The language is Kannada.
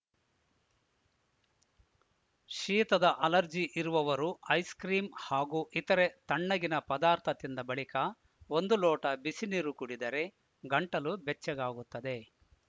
ಶೀತದ ಅಲರ್ಜಿ ಇರುವವರು ಐಸ್‌ ಕ್ರೀಂ ಹಾಗೂ ಇತರೆ ತಣ್ಣಗಿನ ಪದಾರ್ಥ ತಿಂದ ಬಳಿಕ ಒಂದು ಲೋಟ ಬಿಸಿ ನೀರು ಕುಡಿದರೆ ಗಂಟಲು ಬೆಚ್ಚಗಾಗುತ್ತದೆ